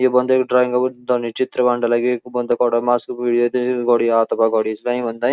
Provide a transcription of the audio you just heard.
ये बन्दे कु ड्राइंगो बन्यु च --